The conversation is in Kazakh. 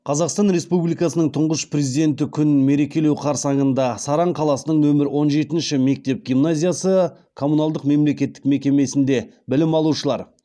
қазақстан республикасының тұңғыш президенті күн мерекелеу қарсаңында саран қаласының нөмір он жетінші мектеп гимназиясы коммуналдық мемлекеттік мекемесінде білім алушылар